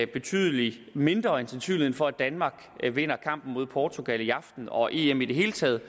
betydelig mindre end sandsynligheden for at danmark vinder kampen mod portugal i aften og em i det hele taget